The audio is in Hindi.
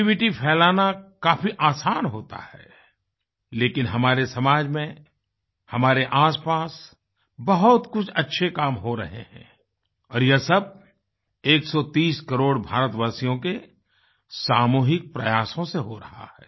Negativity फैलाना काफी आसान होता है लेकिन हमारे समाज में हमारे आसपास बहुत कुछ अच्छे काम हो रहे हैं और ये सब 130 करोड़ भारतवासियों के सामूहिक प्रयासों से हो रहा है